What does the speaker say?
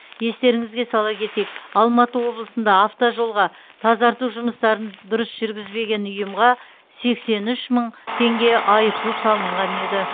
естеріңізге сала кетейік алматы облысында автожолға тазарту жұмыстарын дұрыс жүргізбеген ұйымға сексен үш мың теңге айыппұл салынған еді